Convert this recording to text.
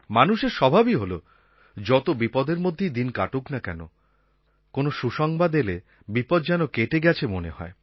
মানুষের স্বভাবই হল যত বিপদের মধ্যেই দিন কাটুক না কেন কোনো সুসংবাদ এলে বিপদ যেন কেটে গেছে মনে হয়